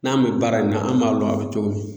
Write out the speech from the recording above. N'an bɛ baara in na an b'a dɔn a bɛ cogo min.